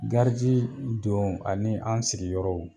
don ani an sigiyɔrɔw